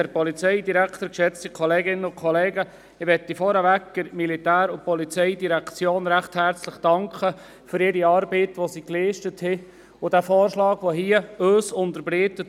Vorweg möchte ich der POM recht herzlich für ihre Arbeit danken, die sie geleistet hat und für den Vorschlag, den sie uns heute für Prêles unterbreitet.